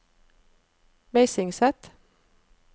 Meisingset